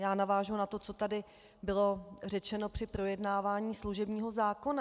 Já navážu na to, co tady bylo řečeno při projednávání služebního zákona.